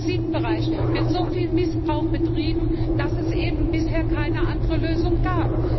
Im Transitbereich wird so viel Missbrauch betrieben, dass es eben bisher keine andere Lösung gab.